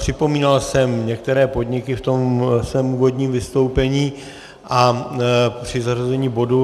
Připomínal jsem některé podniky v tom svém úvodním vystoupení a při zařazení bodu.